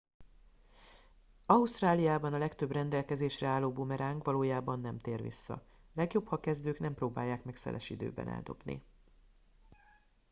ausztráliában a legtöbb rendelkezésre álló bumeráng valójában nem tér vissza legjobb ha kezdők nem próbálják meg szeles időben eldobni